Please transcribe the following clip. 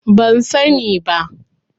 Ban sani ba.